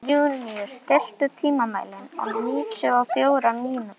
Júníus, stilltu tímamælinn á níutíu og fjórar mínútur.